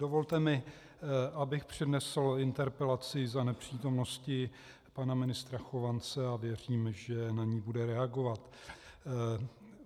Dovolte mi, abych přednesl interpelaci za nepřítomnosti pana ministra Chovance, a věřím, že na ni bude reagovat.